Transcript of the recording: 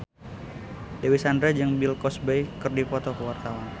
Dewi Sandra jeung Bill Cosby keur dipoto ku wartawan